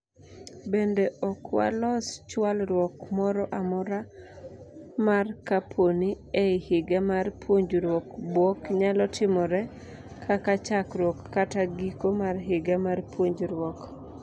Bende okwalos chwalruok mora mora mar kapooni ei higa mar puonjruok bwok nyalo timore (kaka, chakruok kata giko mar higa mar puonjruok).